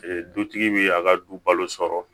Dutigi bi a ka du balo sɔrɔ